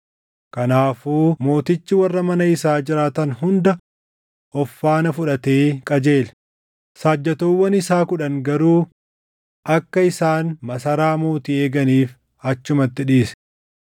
Kanaafuu mootichi warra mana isaa jiraatan hunda of faana fudhatee qajeele; saajjatoowwan isaa kudha garuu akka isaan masaraa mootii eeganiif achumatti dhiise.